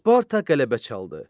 Sparta qələbə çaldı.